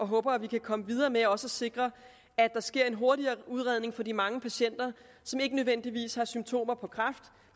håber at vi kan komme videre med også at sikre at der sker en hurtigere udredning for de mange patienter som ikke nødvendigvis har symptomer på kræft